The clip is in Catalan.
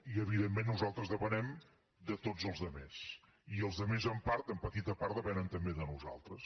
i evidentment nosaltres depenem de tots els altres i els altres en part en petita part depenen també de nosaltres